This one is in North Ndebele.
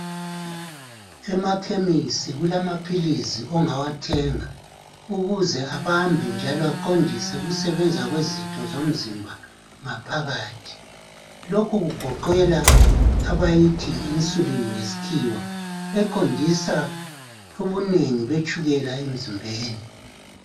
Emakhemisi kulamaphilizi ongawathenga ukuze abambe njalo aqondise ukusebenza kwezitho zomzimba ngaphakathi lokhu kugoqela abayithi Yi insulin ngesikhiwa eqondisa ubuningi betshukela emzimbeni